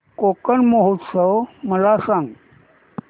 कोकण महोत्सव मला सांग